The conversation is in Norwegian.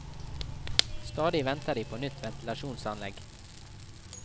Stadig venter de på nytt ventilasjonsanlegg.